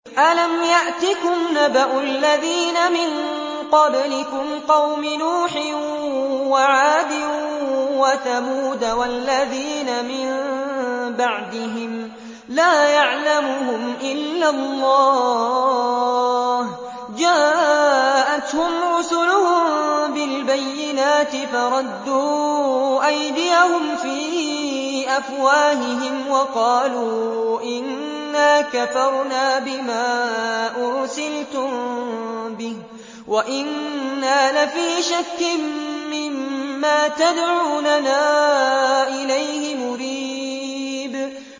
أَلَمْ يَأْتِكُمْ نَبَأُ الَّذِينَ مِن قَبْلِكُمْ قَوْمِ نُوحٍ وَعَادٍ وَثَمُودَ ۛ وَالَّذِينَ مِن بَعْدِهِمْ ۛ لَا يَعْلَمُهُمْ إِلَّا اللَّهُ ۚ جَاءَتْهُمْ رُسُلُهُم بِالْبَيِّنَاتِ فَرَدُّوا أَيْدِيَهُمْ فِي أَفْوَاهِهِمْ وَقَالُوا إِنَّا كَفَرْنَا بِمَا أُرْسِلْتُم بِهِ وَإِنَّا لَفِي شَكٍّ مِّمَّا تَدْعُونَنَا إِلَيْهِ مُرِيبٍ